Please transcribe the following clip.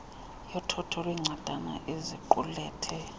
yothotho lweencwadana eziqulethe